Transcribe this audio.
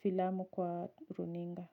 filamu kwa runinga.